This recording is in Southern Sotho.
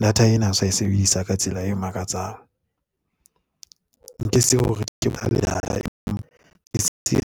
data ena o sa e sebedisa ka tsela e makatsang. nke se hore ke